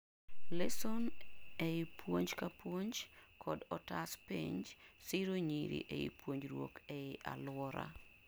lesson, ei puonjka puonj kod otas penj siro nyiro ei ponjruok ei aluora